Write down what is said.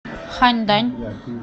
ханьдань